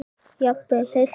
Jafnvel heilt afrek?